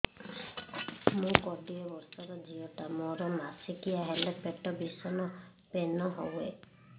ମୁ କୋଡ଼ିଏ ବର୍ଷର ଝିଅ ଟା ମୋର ମାସିକିଆ ହେଲେ ପେଟ ଭୀଷଣ ପେନ ହୁଏ